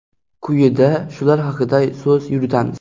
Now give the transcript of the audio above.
Quyida shular haqida so‘z yuritamiz.